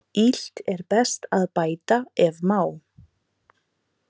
Illt er best að bæta ef má.